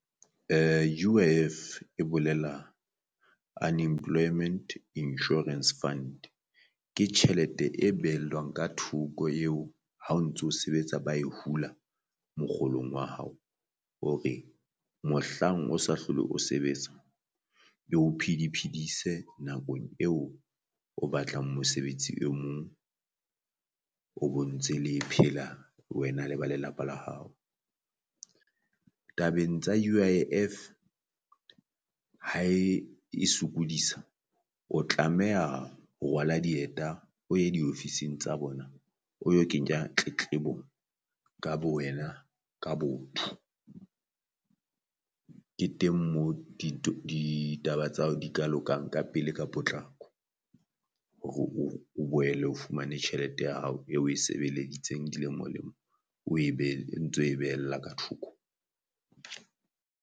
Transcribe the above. U_I_F e bolela Unemployment Insurance Fund, ke tjhelete e behellwang ka thoko eo ha o ntso sebetsa ba e hula mokgolong wa hao hore mohlang o sa hlole o sebetsa e ho phedi phedise nakong eo o batlang mosebetsi o mong o bo ntse le phela wena le ba lelapa la hao. Tabeng tsa U_I_F Ha e e sokodisa o tlameha ho rwala dieta o ye di ofising tsa bona o yo kenya tletlebo ka bo wena ka botho. Ke teng moo ditaba tsa hao di ka lokang ka pele ka potlako hore o o boele o fumane tjhelete ya hao e o e sebeleditseng dilemolemo o e e ntso e behella ka thoko.